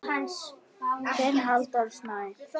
Þinn Halldór Snær.